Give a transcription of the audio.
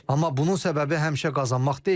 Amma bunun səbəbi həmişə qazanmaq deyil.